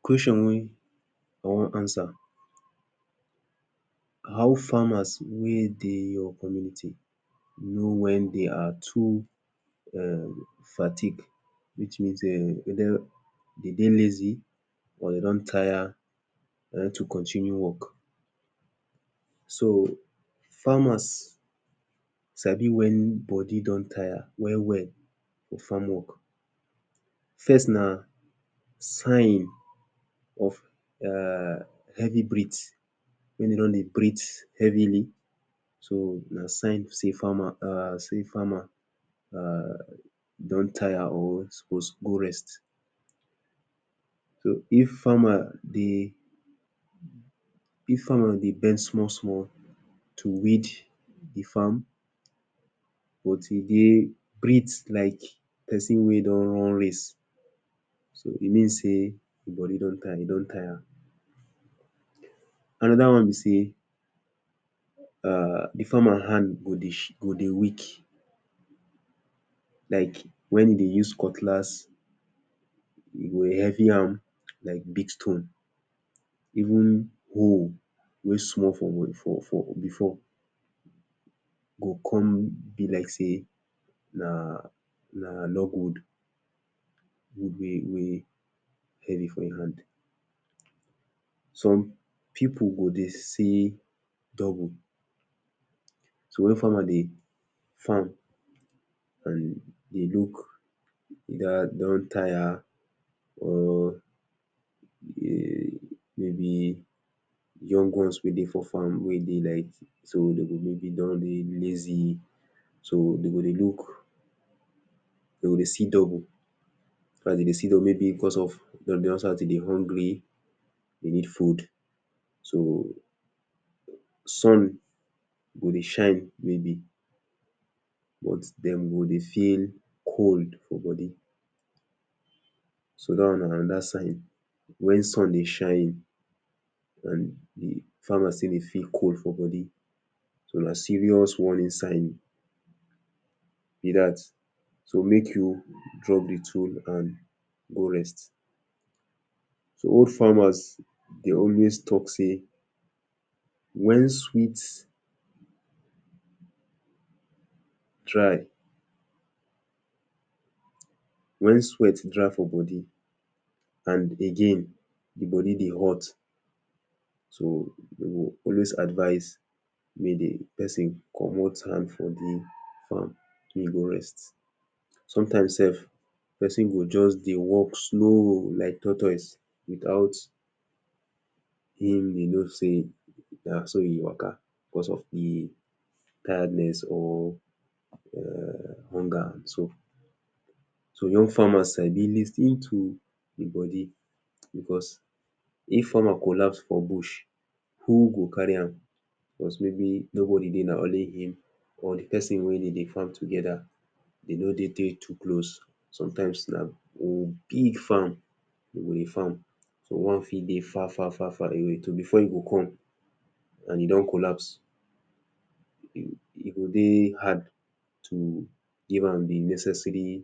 Question wey I wan answer how farmers wey dey know when dey are too um fatigue which means um whether dem dey lazy or dem don tire for dem to continue work. so farmers sabi when body don tire well well for farm work. first na sign of um heavy breathe wey dey don dey breathe heavily so na sign of sey farmer sey farmer don tire or suppose go rest. so if farmer dey bend small small to weed de farm but e dey breathe like but e dey breathe like person wey don race, so e mean sey him body don tire. he don tire another one be sey um de farmer hand go dey shake go dey weak like when e dey use cutlass. e go heavy am like big stone even how wey small for for before go come be like sey na na log wood wey dey dey heavy for handsome pipu go dey see double. so when farmer dey farm and e look don tire or maybe young ones wey dey for farm wey dey like so dey go go dey don lazy so dem go dey look dem go dey see double and if dem dey see double maybe because of maybe dey don start to dey hungry dey need food so sun go dey shine maybe but dem go dey feel cold for body so that one na another side. when sun shine and farmers say dey feel cold for body so na serious warning signs be that so make you drop de tool and go rest. so old farmers dey talk say when sweat dry when sweat dry for body and again de body dey hot you go dem go always advice make de person comot hand for de farm. make e go rest sometimes sef person go just dey work slow like tortoise without him dey know sey na so him waka because of de tiredness or hunger so so. When farmers um dey lis ten to de body because if farmers collapse for bush who go carry am plus maybe nobody dey na only him or de person dey wey dey dey farm together e no dey too close sometimes, na big farm dem go dey farm so one fit dey far far far far away. so before him go come and he don collapse e go dey hard to give am de necessary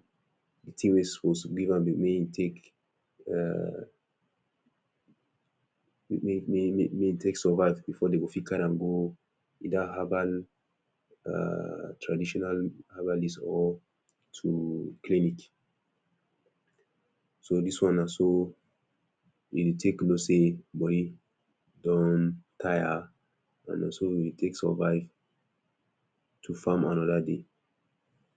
de thing wey you suppose give am make you take um make make you take survive before dem go fit carry am go either herbal um traditional means or um clinic. so this one na so e dey take know sey body don tire and na so we take survive to farm another day.